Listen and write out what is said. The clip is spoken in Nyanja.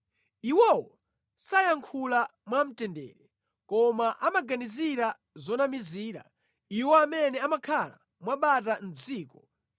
Iwowo sayankhula mwamtendere, koma amaganizira zonamizira iwo amene amakhala mwabata mʼdziko.